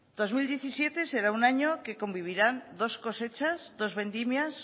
dos mil diecisiete será un año que convivirán dos cosechas dos vendimias